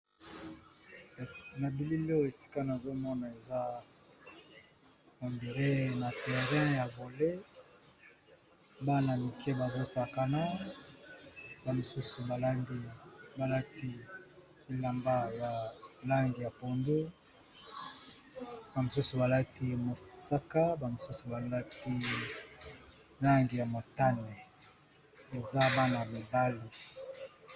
Kasi na bilili esika nazomona eza ont dirait na terrain ya volley bana mike bazosakana, ba mosusu balati elamba ya langi ya pondu, ba mosusu balati mosaka, ba mosusu balati langi ya motane eza bana mibali.